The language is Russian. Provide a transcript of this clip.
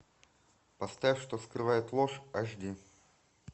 поставь что скрывает ложь аш ди